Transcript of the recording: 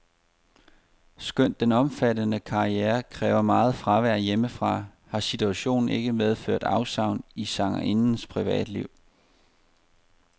Skønt den omfattende karriere kræver meget fravær hjemmefra, har situationen ikke medført afsavn i sangerindens privatliv.